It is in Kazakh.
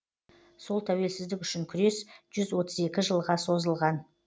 сол тәуелсіздік үшін күрес жүз отыз екі жылға созылған